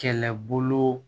Kɛlɛbolo